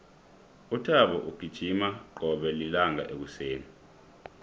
uthabo ugijima qobe lilanga ekuseni